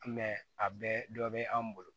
a bɛɛ dɔ bɛ an bolo